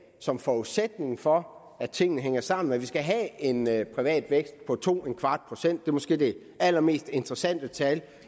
som forudsætning for at tingene hænger sammen at vi skal have en privat vækst på 2¼ procent det er måske det allermest interessante tal